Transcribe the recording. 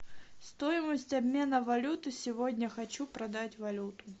стоимость обмена валюты сегодня хочу продать валюту